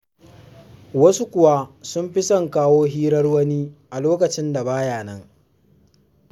Wasu kuwa sun fi son kawo hirar wani, a lokacin da ba ya nan.